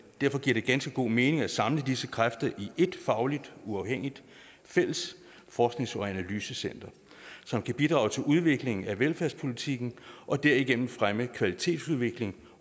det ganske god mening at samle disse kræfter i et fagligt uafhængigt fælles forsknings og analysecenter som kan bidrage til udviklingen af velfærdspolitikken og derigennem fremme kvalitetsudviklingen